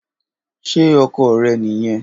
Ṣe ọkọ rẹ niyẹn?